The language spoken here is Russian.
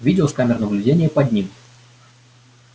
видео с камер наблюдения поднимут